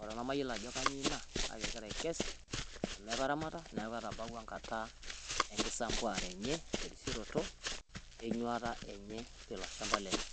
ore nemayiolo ajo kainyio ina . Kake egira aikes amu itaramata niaku etabaua enkata enkisampuare enye terisioroto enyuata enye tilo shamba lenye.